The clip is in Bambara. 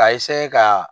K'a ka